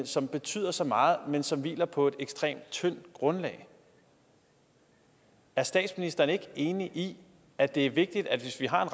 som betyder så meget men som hviler på et ekstremt tyndt grundlag er statsministeren ikke enig i at det er vigtigt at hvis vi har